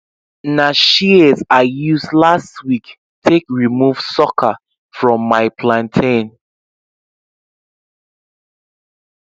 na shears i use last week take remove sucker from my plantain